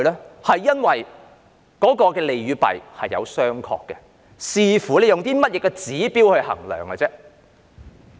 這是因為當中的利與弊是有商榷的，視乎以甚麼指標來衡量而已。